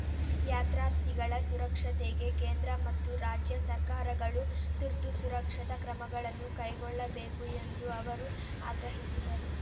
ಯಾತ್ರಾರ್ಥಿಗಳ ಸುರಕ್ಷತೆಗೆ ಕೇಂದ್ರ ಮತ್ತು ರಾಜ್ಯ ಸರ್ಕಾರಗಳು ತುರ್ತು ಸುರಕ್ಷತಾ ಕ್ರಮಗಳನ್ನು ಕೈಗೊಳ್ಳಬೇಕು ಎಂದು ಅವರು ಆಗ್ರಹಿಸಿದರು